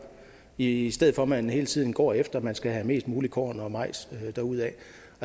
i i stedet for at man hele tiden går efter at man skal have mest muligt korn og majs derudad